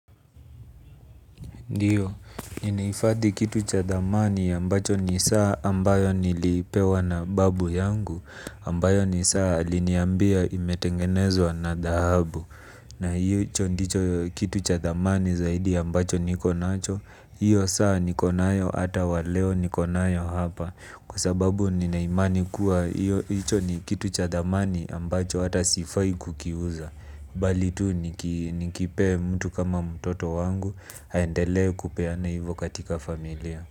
Ndiyo, ninahifadhi kitu cha thamani ambacho ni saa ambayo nilipewa na babu yangu ambayo ni saa aliniambia imetengenezwa na dhahabu. Na hicho ndicho kitu cha thamani zaidi ambacho niko nacho. Hiyo saa niko nayo hata wa leo niko nayo hapa. Kwa sababu nina imani kuwa hicho ni kitu cha thamani ambacho hata sifai kukiuza. Bali tu nikipe mtu kama mtoto wangu aendelee kupeana hivyo katika familia.